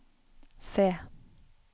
se